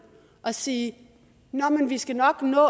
at sige nå men vi skal nok nå